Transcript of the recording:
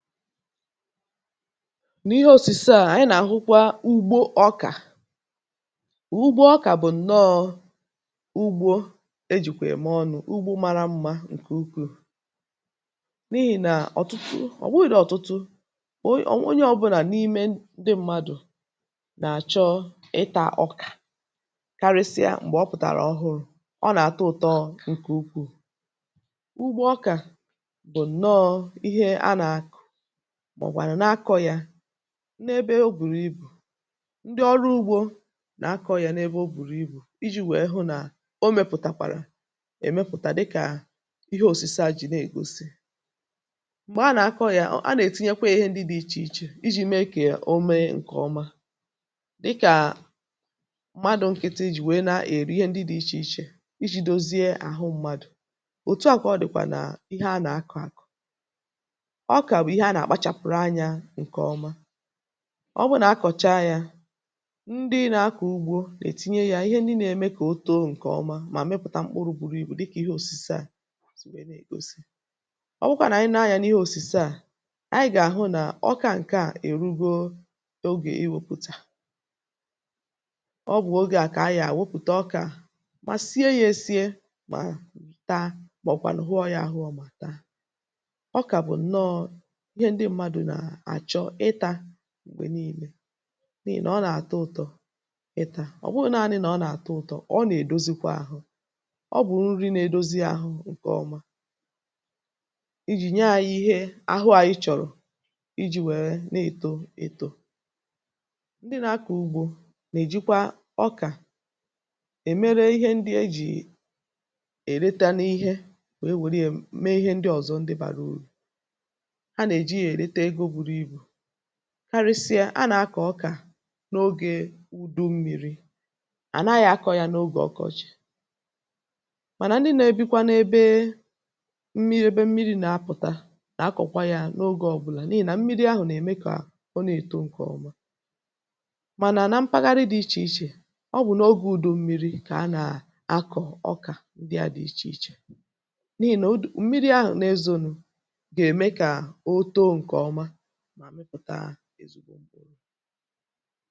Ehee, n’ihe òsìse à, ànyị nà-àhụkwa ugbo ọkà. Ugbo ọkà bụ̀ ǹnọọ̇ ugbo e ji̇ kwè ị̀maọ̀nụ̀ — ugbo mara mmȧ ǹkè ukwuù, n’ihì nà ọ̀tụtụ, ọ̀ gbụghị̇dị̇ onye ọbụlà n’ime ndị ṁmȧdụ̀ nà-àchọ ịtȧ ọkà, karịsịa m̀gbè ọ pụ̀tàrà ọhụrụ̇ — ọ nà-àtọ ụ̀tọ. Ǹkè ukwuù ugbo ọkà bụ̀ ǹnọọ̇ nà ebe ogbùrù ibù, ndị ọrụ ugbo nà akọ̇ ya n’ebe o bùrù ibù iji̇ hụ nà o mėpụ̀tàkwàrà èmepụ̀tà, dịkà ihe òsìse à ji̇ nà ègosi. M̀gbè a nà akọ̇ ya, a nà-ètinye kwa ihe ndị dị̇ iche iche iji̇ me ka o mee ǹkè ọma, um dịkà mmadụ̀ nkịtị iji̇ nwèe nà èrù ihe ndị dị̇ iche iche iji̇ dozie àhụ mmadụ̀. Òtù àkwọ dị̀kwà nà ihe a nà akọ̀ àkọ̀; ọ bụrụ nà a kọ̀chaa yȧ, ndị nà-akọ̀ ugbo nà-ètinye yȧ ihe ndị nà-eme kà ọ too nke ọma, mà mepụ̀tà mkpụrụ̇ buru ibu̇ dịkà ihe òsìse à. Ọ bụkwa nà ànyị nà-anya n’ihe òsìse à, ànyị gà-àhụ nà ọkà ǹkè a èrugo ogè iwėpùtà ọgwụ̀. Ogè à kà a yà wepụ̀ta ọkà, mà sie yȧ, esie, mà taa, um màọ̀bụ̀kwà nà hụọ yȧ ahụ. Ọ mà taa ǹgwè niile n’ihi nà ọ nà-àtọ ụ̀tọ̀. Ịtȧ ọ̀ bụghi̇ naanị̇ nà ọ nà-àtọ ụ̀tọ̀ — ọ nà-èdozikwa àhụ; ọ bụ̀ nri na-edozi àhụ nke ọma. Ijì nyaȧ ihe, àhụ ȧnyị̇ chọ̀rọ̀ iji̇ wère na-èto ètò. Ndị nà-akọ̀ ugbo nà-èjikwa ọkà e mere ihe ndị e ji̇ è reta n’ihe wèe wèe ree, mee ihe ndị ọzọ bàrà urù, um karịsịa. A nà-akọ̀ ọkà n’ogė ùdu mmiri̇, àna yȧ akọ̇ yȧ n’ogè ọkọchị̀; mànà ndị nà-ebikwa n’ebe mmiri̇, ebe mmiri̇ nà-apụ̀ta, nà akọ̀kwa yȧ n’ogè ọbụlà, n’ihì nà mmiri̇ ahụ̀ nà-ème kà ọ nà-èto nke ọma. Mànà nà mpaghara dị̇ iche iche, ọ bụ̀ n’ogė ùdu mmiri̇ kà a nà-akọ̀ ọkà. Ndị a dị̇ iche iche n’ihì nà mmiri̇ ahụ̀ nà-ezọnụ̇ ezugbo m̀bụrụ.